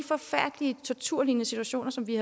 forfærdelige torturlignende situationer som vi